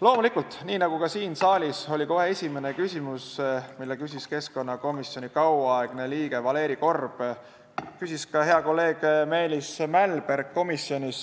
Loomulikult, nagu ka siin saalis oli kohe esimene küsimus, mille esitas keskkonnakomisjoni kauaaegne liige Valeri Korb, nii küsis ka hea kolleeg Meelis Mälberg komisjonis